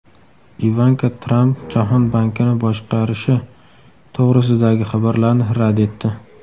Ivanka Tramp Jahon bankini boshqarishi to‘g‘risidagi xabarlarni rad etdi.